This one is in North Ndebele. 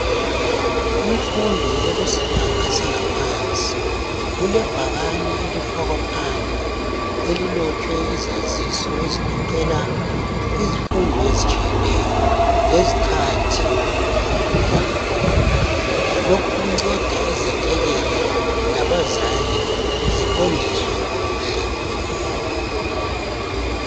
Kumfundo ekusibanga sanga phansi kulebhakane elifakwa phandle elilotshwe izaziso ezigoqela izifundo ezitshiyeneyo lezikhathi zankhona. Lokhu kunceda izethekeli labazali ziqondiswe kuhle.